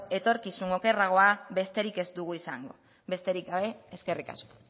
etorkizun okerragoa besterik ez dugu izango besterik gabe eskerrik asko